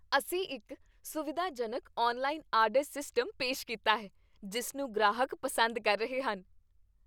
ਅਸੀਂ ਇੱਕ ਸੁਵਿਧਾਜਨਕ ਔਨਲਾਈਨ ਆਰਡਰ ਸਿਸਟਮ ਪੇਸ਼ ਕੀਤਾ ਹੈ ਜਿਸ ਨੂੰ ਗ੍ਰਾਹਕ ਪਸੰਦ ਕਰ ਰਹੇ ਹਨ।